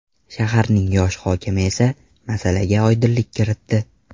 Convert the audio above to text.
Shaharning yosh hokimi esa masalaga oydinlik kiritdi.